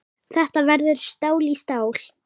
Þetta verður stál í stál.